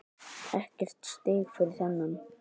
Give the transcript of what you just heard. Ekkert stig fyrir þennan.